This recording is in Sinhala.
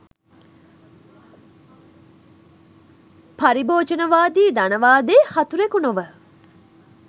පරිභෝජනවාදි ධනවාදයේ හතුරෙකු නොව